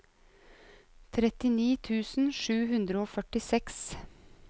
trettini tusen sju hundre og førtiseks